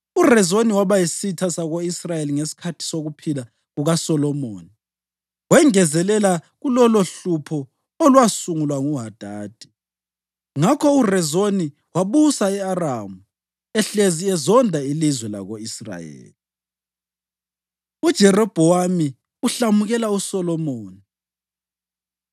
URezoni waba yisitha sako-Israyeli ngesikhathi sokuphila kukaSolomoni, wengezelela kuloluhlupho olwasungulwa nguHadadi. Ngakho uRezoni wabusa e-Aramu ehlezi ezonda ilizwe lako-Israyeli. UJerobhowamu Uhlamukela USolomoni